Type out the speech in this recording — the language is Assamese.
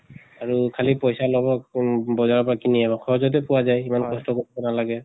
আৰু খালি পইচা লব কোম বজাৰৰ পৰা কিনি সহজতে পোৱা যায়। সিমান কষ্ট কৰিব নালাগে।